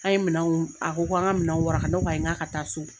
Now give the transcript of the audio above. An ye minanw a ko ko an ka minanw waraka. Ne ko ko ayi ŋ'a ka taa so.